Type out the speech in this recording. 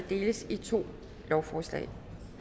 deles i to lovforslag